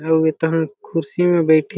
अउ ए तहा खुर्सी में बईठे--